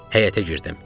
Həyətə girdim.